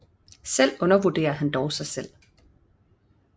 Selv undervurderer han dog sig selv